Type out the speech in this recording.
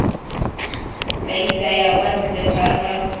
tla itaya kwa ntle jaaka